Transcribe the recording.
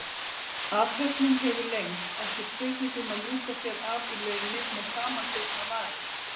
Athöfnin hefur lengst, ekki spurning um að ljúka sér af í laumi með samanbitnar varir.